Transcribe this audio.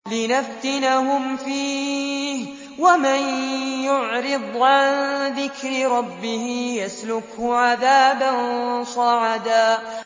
لِّنَفْتِنَهُمْ فِيهِ ۚ وَمَن يُعْرِضْ عَن ذِكْرِ رَبِّهِ يَسْلُكْهُ عَذَابًا صَعَدًا